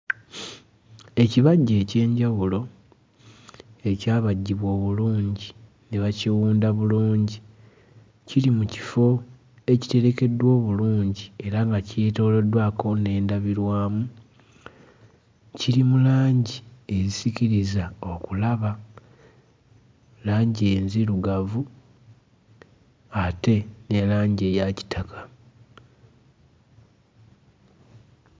Ekibajje eky'enjawulo ekyabajjibwa obulungi ne bakiwunda bulungi kiri mu kifo ekitegekeddwa obulungi era nga kyetooloddwako n'endabirwamu kiri mu langi ezisikiriza okulaba langi enzirugavu ate ne langi eya kitaka.